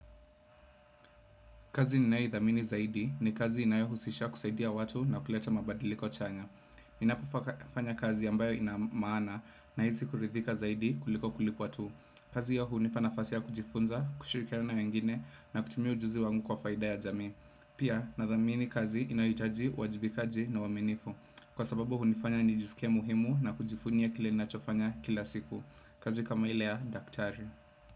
Kazi ninaothamini zaidi ni kazi inayohusisha kusaidia watu na kuleta mabadiliko chanya. Ninapofanya kazi yambayo ina maana nahizi kuridhika zaidi kuliko kulipwa tu. Kazi iyo hunipa nafasia kujifunza, kushirikiana wengine na kutumia ujuzi wangu kwa faida ya jami. Pia nathamini kazi inayoitaji wajibikaji na wamenifu. Kwa sababu hunifanya nijisikie muhimu na kujifunye kile nachofanya kila siku. Kazi kama ile ya daktari.